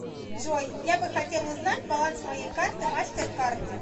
джой я бы хотел узнать баланс моей карты мастеркард